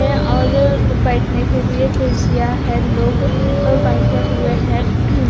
है और बैठने के लिए कुर्सियां हैं लोग बैठे हुए हैं।